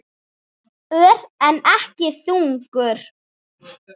Ör, en ekki þungur.